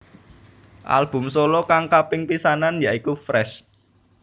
Album solo kang kaping pisanan ya iku Fresh